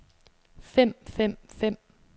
fem fem fem